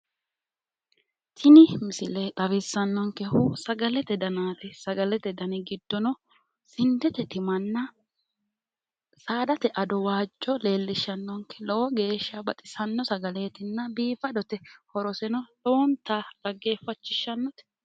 Tini misile xawissannonkehu sagalete danaati sagalete giddi giddono sindte timanna saadate ado waajjo leellishshannonke lowo geeshsha baxisanno sagaleetinna biifadote horoseno lowonta dhaggeeffachishshannote.